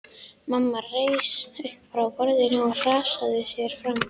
Mamma reis upp frá borðum og hraðaði sér fram.